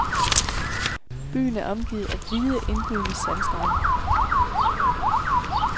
Byen er omgivet af hvide indbydende sandstrande.